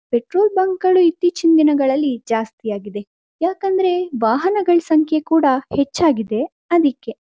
Petrol bunk ಗಳು ಇತ್ತೀಚಿನ ದಿನಗಳಲ್ಲಿ ಜಾಸ್ತಿ ಆಗಿವೆ ಯಾಕಂದ್ರೆ ವಾಹನಗಳ ಸಂಖ್ಯೆ ಕೂಡ ಹೆಚ್ಚಾಗಿದೆ ಅದಿಕ್ಕೆ.